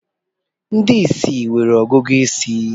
Ndị ìsì nwere ọgụgụ isi